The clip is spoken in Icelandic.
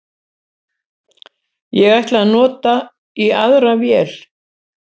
Ég ætla að nota í aðra vél